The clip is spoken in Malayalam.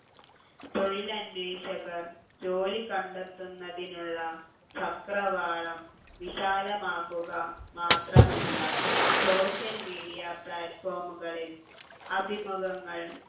തൊഴിലന്വേഷകർ ജോലി കണ്ടെത്തുന്നതിനുള്ള ചക്രവാളം വിശാലമാക്കുക മാത്രമല്ല social media platform കളിൽ അഭിമുഖങ്ങൾ